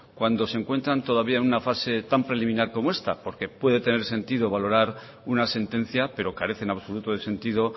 cuando se encuentran todavía una fase tan preliminar como esta porque puede tener sentido valorar una sentencia pero carece en absoluto de sentido